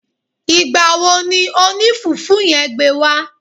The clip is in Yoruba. Ìgbà wo ni oní fùfú yen gbé wá